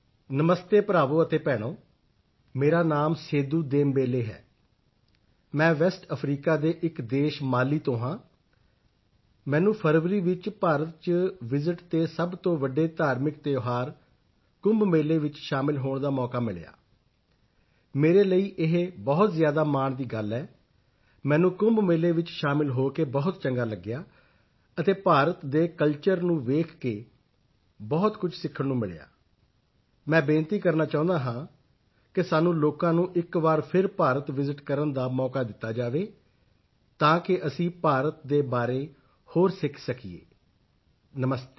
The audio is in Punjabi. ਨਮਸਤੇ ਭਰਾਵੋ ਅਤੇ ਭੈਣੋ ਮੇਰਾ ਨਾਮ ਸੇਦੂ ਦੇਮਬੇਲੇ ਹੈ ਮੈਂ ਵੈਸਟ ਅਫਰੀਕਾ ਦੇ ਇੱਕ ਦੇਸ਼ ਮਾਲੀ ਤੋਂ ਹਾਂ ਮੈਨੂੰ ਫਰਵਰੀ ਵਿੱਚ ਭਾਰਤ ਚ ਵਿਸਿਤ ਤੇ ਸਭ ਤੋਂ ਵੱਡੇ ਧਾਰਮਿਕ ਤਿਓਹਾਰ ਕੁੰਭ ਮੇਲੇ ਵਿੱਚ ਸ਼ਾਮਿਲ ਹੋਣ ਦਾ ਮੌਕਾ ਮਿਲਿਆ ਮੇਰੇ ਲਈ ਇਹ ਬਹੁਤ ਜ਼ਿਆਦਾ ਮਾਣ ਦੀ ਗੱਲ ਹੈ ਮੈਨੂੰ ਕੁੰਭ ਮੇਲੇ ਵਿੱਚ ਸ਼ਾਮਿਲ ਹੋ ਕੇ ਬਹੁਤ ਚੰਗਾ ਲਗਿਆ ਅਤੇ ਭਾਰਤ ਦੇ ਕਲਚਰ ਨੂੰ ਵੇਖ ਕੇ ਬਹੁਤ ਕੁਝ ਸਿੱਖਣ ਨੂੰ ਮਿਲਿਆ ਮੈਂ ਬੇਨਤੀ ਕਰਨਾ ਚਾਹੁੰਦਾ ਹਾਂ ਕਿ ਸਾਨੂੰ ਲੋਕਾਂ ਨੂੰ ਇੱਕ ਵਾਰ ਫਿਰ ਭਾਰਤ ਵਿਸਿਤ ਕਰਨ ਦਾ ਮੌਕਾ ਦਿੱਤਾ ਜਾਵੇ ਤਾਕਿ ਅਸੀਂ ਭਾਰਤ ਦੇ ਬਾਰੇ ਹੋਰ ਸਿੱਖ ਸਕੀਏ ਨਮਸਤੇ